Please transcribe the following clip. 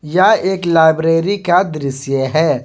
या एक लाइब्रेरी का दृश्य है।